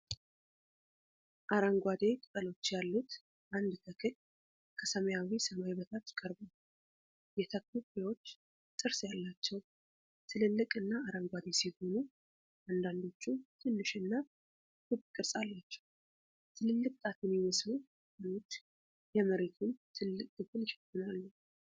አረንጓዴ ቅጠሎች ያሉት አንድ ተክል ከሰማያዊ ሰማይ በታች ቀርቧል:: የተክሉ ፍሬዎች ጥርስ ያላቸው፣ ትልልቅ እና አረንጓዴ ሲሆኑ፣ አንዳንዶቹም ትንሽ እና ክብ ቅርፅ አላቸው:: ትልልቅ ጣት የሚመስሉ ቅጠሎች የመሬቱን ትልቅ ክፍል ይሸፍናሉ::